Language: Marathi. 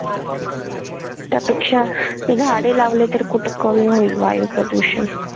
त्यापेक्षा झाडे लावले तर कुठ कमी होईल वायू प्रदूषण.